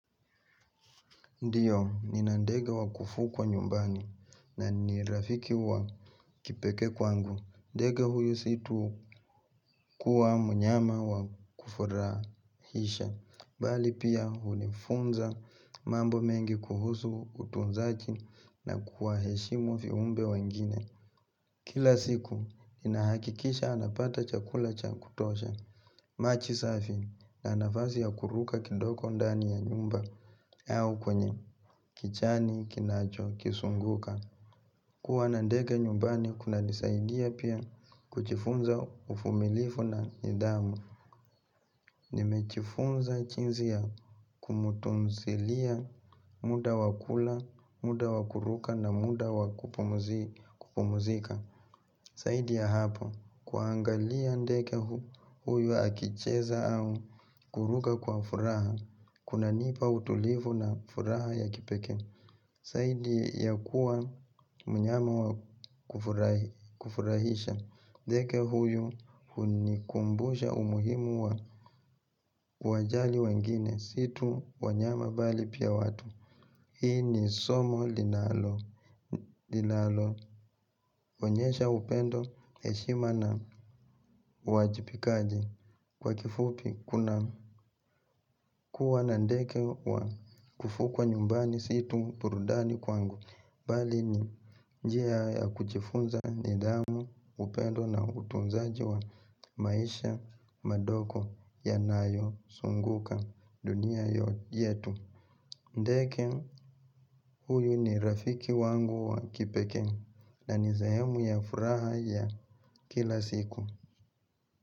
Ndiyo, nina ndege wa kufukwa nyumbani na ni rafiki wa kipekee kwangu. Ndege huyu si tu kuwa mnyama wa kufurahisha. Bali pia hunifunza mambo mengi kuhusu utunzajii na kuwa heshimu fiumbe wengine. Kila siku, ninahakikisha anapata chakula cha kutosha. Majii safi na nafasi ya kuruka kidoko ndani ya nyumba au kwenye kichani, kinachokisunguka. Kuwa na ndege nyumbani kunanisaidia pia kujifunza uvumilifu na nidhamu. Nimejiifunza jiinsi ya kumutunzilia muda wa kula, muda wa kuruka na muda wa kupumuzika. Zaidi ya hapo kuangalia ndege huyu akicheza au kuruka kwa furaha kunanipa utulivu na furaha ya kipekee zaidi ya kuwa mnyama wa kufurahisha ndege huyu hunikumbusha umuhimu wa kuwajali wengine Si tu wanyama bali pia watu Hii ni somo linaloonyesha upendo heshima na uwajipikaji Kwa kifupi kuna kuwa na ndege wa kufukwa nyumbani si tu burudani kwangu Bali ni njia ya kujiifunza nidhamu upendo na utunzaji wa maisha madogo yanayozunguka dunia yetu ndege huyu ni rafiki wangu wa kipekee na ni sehemu ya furaha ya kila siku.